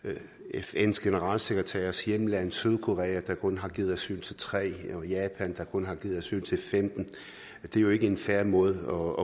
fns generalsekretærs hjemland sydkorea der kun har givet asyl til tre og japan der kun har givet asyl til femtende det er jo ikke en fair måde